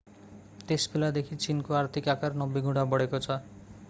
त्यसबेलादेखि चीनको आर्थिक आकार 90 गुणा बढेको छ